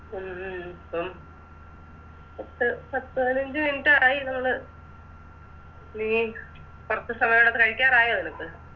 ഉം ഉം പ്പ പത്ത് പതിനഞ്ച് Minute ആയി നമ്മള് നീ കഴിക്കാറായോ നിനക്ക്